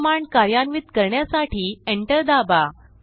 हि कमांड कार्यान्वित करण्यासाठी Enterदाबा